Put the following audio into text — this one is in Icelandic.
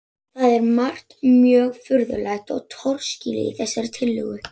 Það er margt mjög furðulegt og torskilið í þessari tillögu.